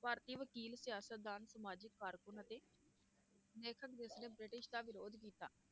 ਭਾਰਤੀ ਵਕੀਲ ਸਿਆਸਤਦਾਨ ਸਮਾਜਿਕ ਕਾਰਕੁਨ ਅਤੇ ਲੇਖਕ ਜਿਸਨੇ ਬ੍ਰਿਟਿਸ਼ ਦਾ ਵਿਰੋਧ ਕੀਤਾ।